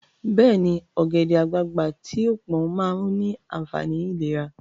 Beeni, ogede-agbagba ti o pon maa ni aafani ilera